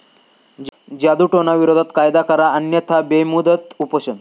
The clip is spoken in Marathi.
जादुटोणाविरोधी कायदा करा अन्यथा बेमुदत उपोषण